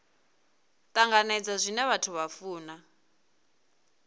tanganedza zwine vhathu vha funa